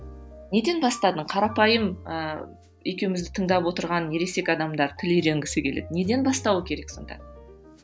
неден бастадың қарапайым ы екеумізді тыңдап отырған ересек адамдар тіл үйренгісі келетін неден бастауы керек сонда